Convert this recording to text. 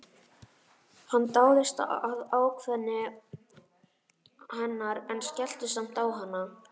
Hann dáðist að ákveðni hennar en skellti samt á hana.